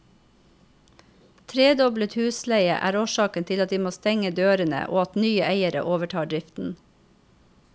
Tredoblet husleie er årsaken til at de må stenge dørene og at nye eiere overtar driften.